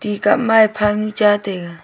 ticap ma phang cha taiga.